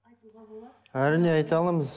айтуға болады әрине айта аламыз